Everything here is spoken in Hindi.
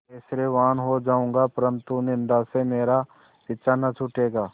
ऐश्वर्यवान् हो जाऊँगा परन्तु निन्दा से मेरा पीछा न छूटेगा